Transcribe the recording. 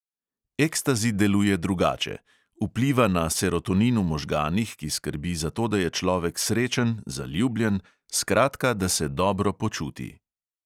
Ekstazi deluje drugače – vpliva na serotonin v možganih, ki skrbi za to, da je človek srečen, zaljubljen, skratka, da se dobro počuti.